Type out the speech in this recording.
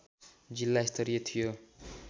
जिल्ला स्तरीय थियो